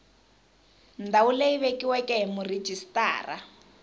ndhawu leyi vekiweke hi murhijisitara